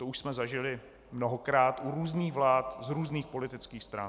To už jsme zažili mnohokrát u různých vlád z různých politických stran.